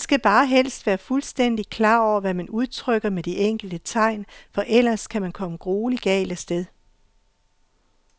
Man skal bare helst være fuldstændigt klar over, hvad man udtrykker med de enkelte tegn, for ellers kan man komme grueligt galt af sted.